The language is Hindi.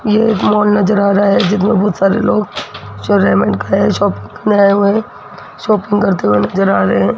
यह एक मॉल नज़र आ रहा है जिसमें बहोत सारे लोग शॉपिंग करने आये हुए हैं शॉपिंग करते हुए नज़र आ रहे हैं।